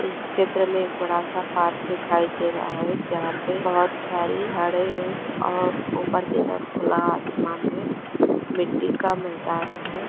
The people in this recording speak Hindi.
इस चित्र मे बड़ा सा पार्क दिखाई दे रहा है जहाँ पे बहुत सारी झाड़े है और ऊपर की तरफ़ खुला आसमान है मिट्ठी का मैदान है।